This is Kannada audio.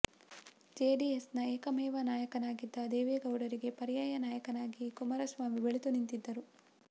ಜೆಡಿಎಸ್ ನ ಏಕಮೇವ ನಾಯಕನಾಗಿದ್ದ ದೇವೇಗೌಡರಿಗೆ ಪರ್ಯಾಯ ನಾಯಕನಾಗಿ ಕುಮಾರಸ್ವಾಮಿ ಬೆಳೆದು ನಿಂತಿದ್ದರು